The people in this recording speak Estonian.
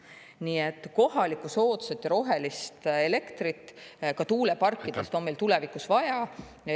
Nii et kohalikku soodsat ja rohelist elektrit ka tuuleparkidest on meil tulevikus vaja.